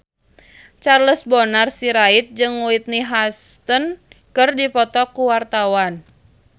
Charles Bonar Sirait jeung Whitney Houston keur dipoto ku wartawan